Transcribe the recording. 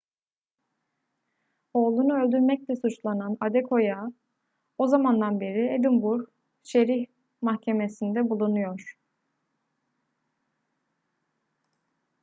oğlunu öldürmekle suçlanan adekoya o zamandan beri edinburgh şerif mahkemesinde bulunuyor